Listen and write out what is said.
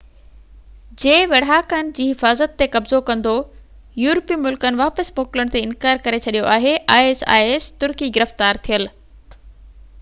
ترڪي گرفتار ٿيل isis جي ويڙهاڪن جي حفاظت تي قبضو ڪندو يورپي ملڪن واپس موڪلڻ تي اناڪار ڪري ڇڏيو آهي